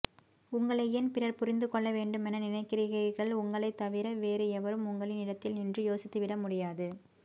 உங்களை ஏன் பிறர் புரிந்துகொள்ளவேண்டுமென நினைக்கிறீர்கள் உங்களைத்தவிற வேறு எவரும் உங்களின் இடத்தில் நின்று யோசித்துவிட முடியாது